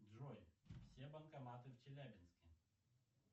джой все банкоматы в челябинске